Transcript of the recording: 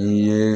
U ye